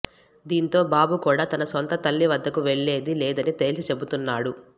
దీంతో బాబు కూడా తన సొంత తల్లి వద్దకు వెళ్లేది లేదని తేల్చి చెబుతున్నాడు